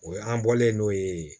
O ye an bɔlen n'o ye